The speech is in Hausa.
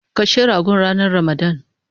Kashe ragon ranan ramadan